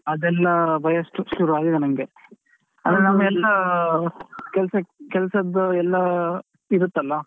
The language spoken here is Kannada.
ಅದೆಲ್ಲ ಭಯ ಶು~ ಶುರುವಾಗಿದೆ ನಂಗೆ, ಅಂದ್ರೆನಮ್ದೇಲ್ಲ ಕೆಲ್ಸ~ ಕೆಲ್ಸದ್ದು ಎಲ್ಲಾಇರುತ್ತಲ್ಲ.